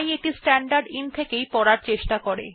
তাই এটি স্ট্যান্ডারদিন থেকে ইনপুট নিতে চেষ্টা করে